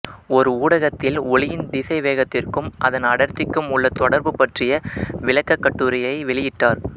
ஓர் ஊடகத்தில் ஒளியின் திசை வேகத்திற்கும் அதன் அடர்த்திக்கும் உள்ள தொடர்பு பற்றிய விளக்கக் கட்டுரையை வெளியிட்டார்